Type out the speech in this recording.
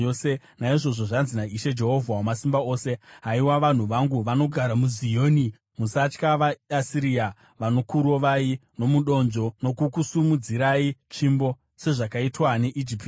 Naizvozvo zvanzi naIshe, Jehovha Wamasimba Ose: “Haiwa, vanhu vangu vanogara muZioni, musatya vaAsiria, vanokurovai nomudonzvo nokukusimudzirai tsvimbo, sezvakaitwa neIjipiti.